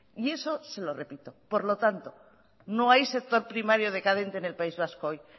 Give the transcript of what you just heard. y eso se lo repito por lo tanto no hay sector primario decadente en el país vasco hoy